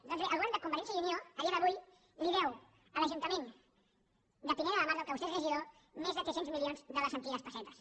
doncs bé el govern de convergència i unió a dia d’avui li deu a l’ajuntament de pineda de mar del qual vostè és regidor més de tres cents milions de les antigues pessetes